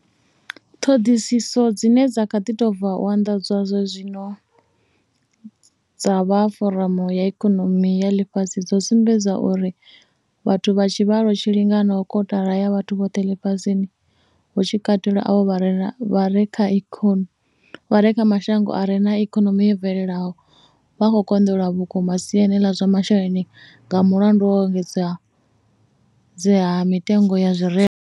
Ṱhoḓisiso dzine dza kha ḓi tou bva u anḓadzwa zwenezwino dza vha Foramu ya Ikonomi ya Ḽifhasi dzo sumbedza uri vhathu vha tshivhalo tshi linganaho kotara ya vhathu vhoṱhe ḽifhasini, hu tshi katelwa na avho vha re kha mashango a re na ikonomi yo bvelelaho, vha khou konḓelwa vhukuma siani ḽa zwa masheleni nga mulandu wa u engedzea ha mitengo ya zwirengwa.